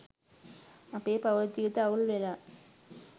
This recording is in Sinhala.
අපේ පවුල් ජීවිත අවුල්වෙලා